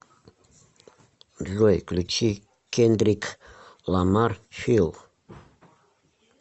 джой включи кендрик ламар фил